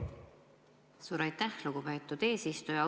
Suur aitäh, lugupeetud eesistuja!